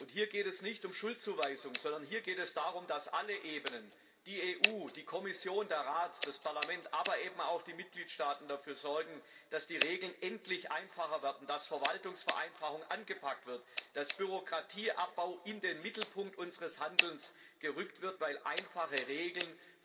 Hier geht es nicht um Schuldzuweisung, sondern hier geht es darum, dass alle Ebenen, die EU, die Kommission, der Rat, das Parlament, aber eben auch die Mitgliedstaaten dafür sorgen, dass die Regeln endlich einfacher werden, dass die Verwaltungsvereinfachung angepackt und Bürokratieabbau in den Mittelpunkt unseres Handelns gerückt wird, weil einfache Regeln